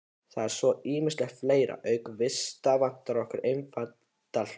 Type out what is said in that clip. Svo er ýmislegt fleira: Auk vista vantar okkur eftirtalda hluti